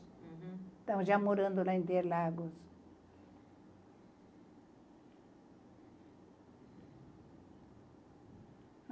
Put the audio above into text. uhum. Então já morando lá em Interlagos.